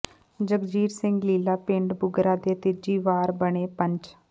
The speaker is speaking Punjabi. ਜਗਜੀਤ ਸਿੰਘ ਲੀਲਾ ਪਿੰਡ ਬੁਗਰਾ ਦੇ ਤੀਜੀ ਵਾਰ ਬਣੇ ਪੰਚ